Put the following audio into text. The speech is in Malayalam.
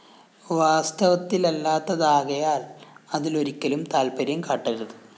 വാസ്തവത്തിലില്ലാത്തതാകയാല്‍ അതിലൊരിക്കലും താല്പര്യം കാട്ടരുത്